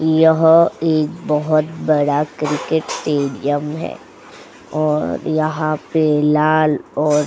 यह एक बहोत बड़ा क्रिकेट टेडियम है यहाँ पे लाल और --